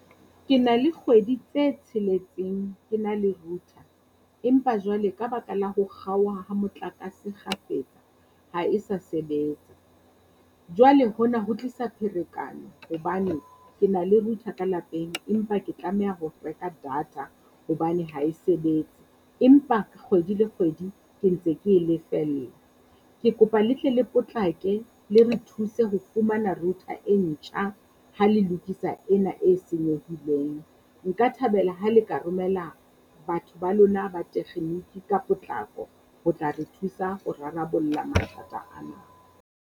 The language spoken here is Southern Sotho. Ke na le kgwedi tse tsheletseng ke na le router. Empa jwale ka baka la ho kgaoha ha motlakase kgafetsa, ha e sa sebetsa. Jwale hona ho tlisa pherekano hobane ke na le router ka lapeng empa ke tlameha ho reka data hobane ha e sebetse, empa kgwedi le kgwedi ke ntse ke e lefella. Ke kopa le tle le potlake le re thuse ho fumana router e ntjha ha le lokisa ena e senyehileng. Nka thabela ha le ka romela batho ba lona ba tekgeniki ka potlako ho tla re thusa ho rarabolla mathata ana.